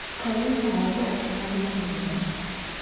xolisa ngokubagcina belindile